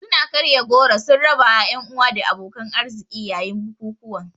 Suna karya goro sun rabawa 'yan uwa da abokan arziki yayin bukukuwan.